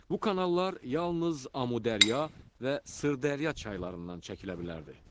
Bu kanallar yalnız Amudərya və Sırdərya çaylarından çəkilə bilərdi.